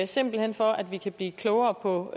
simpelt hen for at vi kan blive klogere på